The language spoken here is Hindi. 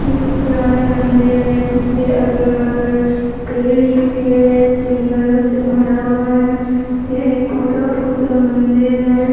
ये एक पुराना मंदिर है जिनके अगल-बगल पेड़ ही पेड़ है जंगलों से भरा हुआ है ये एक टूटा-फूटा मंदिर है।